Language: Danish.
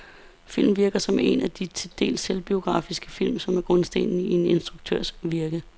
Filmen virker som en af de til dels selvbiografiske film, som er grundstenen i en instruktørs virke.